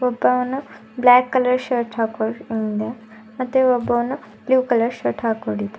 ಒಬ್ಬವನ್ನು black colour shirt ಮತ್ತೆ ಒಬ್ಬವನು blue colour shirt ಹಾಕೊಂಡಿದ್--